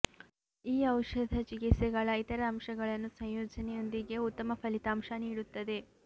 ಈ ಔಷಧ ಚಿಕಿತ್ಸೆಗಳ ಇತರ ಅಂಶಗಳನ್ನು ಸಂಯೋಜನೆಯೊಂದಿಗೆ ಉತ್ತಮ ಫಲಿತಾಂಶ ನೀಡುತ್ತದೆ